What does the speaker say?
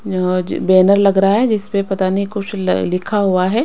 Banner लग रहा है जिस पे पता नहीं कुछ लिखा हुआ है।